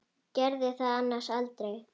Gerði það annars aldrei.